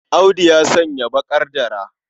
Audu ya sanya baƙar dara.